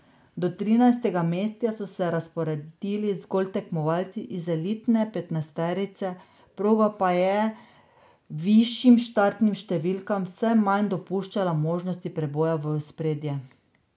Do trinajstega mesta so se razporedili zgolj tekmovalci iz elitne petnajsterice, proga pa je višjim štartnim številkam vse manj dopuščala možnost preboja v ospredje.